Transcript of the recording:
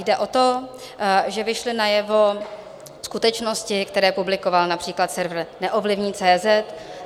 Jde o to, že vyšly najevo skutečnosti, které publikoval například server Neovlivní.